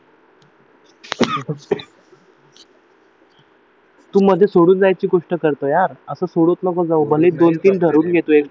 तू म्हणजे सोडून जायची गोष्ट करतो यार असं सोडत नको जाऊ भलेही दोनतीन ठरवून घे तू